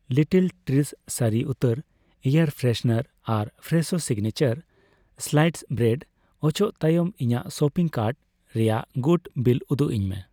Little Trees ᱥᱟᱹᱨᱤ ᱩᱛᱛᱚᱨ air freshener ᱟᱨ ᱯᱷᱨᱮᱥᱳ ᱥᱤᱜᱱᱮᱪᱟᱨ ᱥᱞᱟᱭᱤᱥᱰ ᱵᱨᱮᱰ ᱚᱪᱚᱜ ᱛᱟᱭᱚᱢ ᱤᱧᱟᱜ ᱥᱚᱯᱤᱝ ᱠᱟᱨᱴ ᱨᱮᱭᱟᱜ ᱜᱩᱴ ᱵᱤᱞᱞ ᱩᱫᱩᱜᱟᱹᱧ ᱢᱮ ᱾